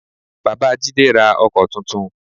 Bàbá Jídé ra Ọkọ́ tuntun